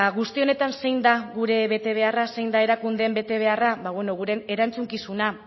guzti honetan zein da gure betebeharra zein da erakundeen betebeharra ba guren erantzukizuna